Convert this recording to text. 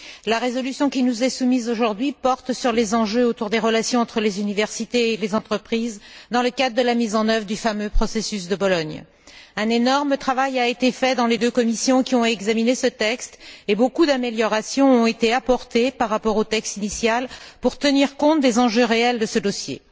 La résolution qui nous est soumise aujourd'hui porte sur les enjeux des relations entre les universités et les entreprises dans le cadre de la mise en œuvre du fameux processus de Bologne. Un énorme travail a été fait dans les deux commissions qui ont examiné ce texte et beaucoup d'améliorations ont été apportées par rapport au texte initial pour tenir compte des enjeux réels de ce dossier.